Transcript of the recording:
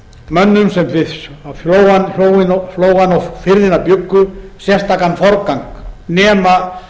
mönnum sem við flóana og firðina bjuggu sérstakan forgang nema